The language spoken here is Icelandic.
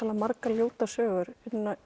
margar ljótar sögur